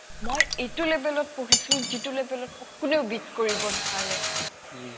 মই এইটো level ত পঢ়িছো যিটো level ত মোক কোনেও beat কৰিব নোৱাৰে